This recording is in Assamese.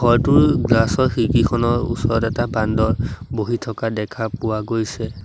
ঘৰটোৰ গ্লাচ ৰ খিৰকীখনৰ ওচৰত এটা বান্দৰ বহি থকা দেখা পোৱা গৈছে।